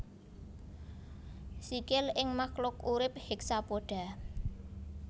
Sikil ing makluk urip hexapoda